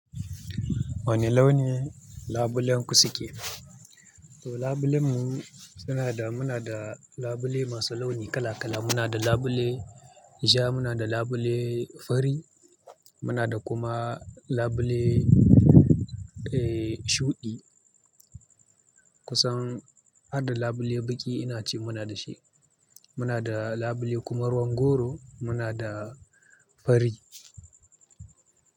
Wane launi labulenku suke? To labulen mu suna da, muna da labule masu launi kala-kala. Muna da labule ja, muna da labule fari, muna da kuma labule, eh, shuɗi. Kusan addu labule baƙi ina ce muna da shi. Muna da labule kuma ruwan goro, muna da fari.